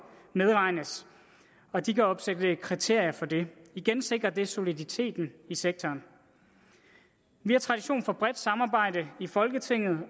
medregnes og at de kan opstille kriterier for det igen sikrer det soliditeten i sektoren vi har tradition for et bredt samarbejde i folketinget